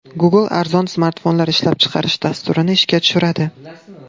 Google arzon smartfonlar ishlab chiqarish dasturini ishga tushiradi.